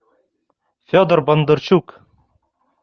федор бондарчук